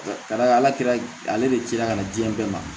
Ka d'a kan ala kɛra ale de cila ka na diɲɛ bɛɛ ma